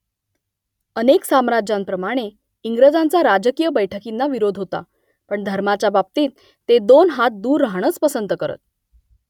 अनेक साम्राज्यांप्रमाणे इंग्रजांचा राजकीय बैठकींना विरोध होता , पण धर्माच्या बाबतीत ते दोन हात दूर राहणंच पसंत करत